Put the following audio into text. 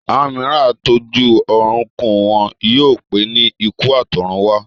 Àwọn mìíràn á tó jú ọrùn kú, wọn yóò pé ní ikú àtọ̀run wá